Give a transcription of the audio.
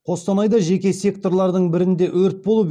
қостанайда жеке секторлардың бірінде өрт болып